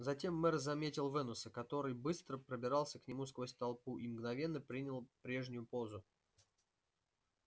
затем мэр заметил венуса который быстро пробирался к нему сквозь толпу и мгновенно принял прежнюю позу